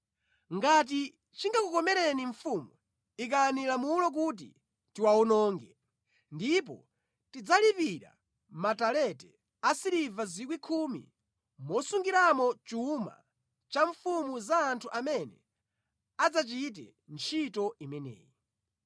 Ngati chingakukomereni mfumu, ikani lamulo kuti tiwawononge, ndipo ndidzalipira matalente 10,000 asiliva mosungiramo chuma cha mfumu za anthu amene adzachite ntchito imeneyi.”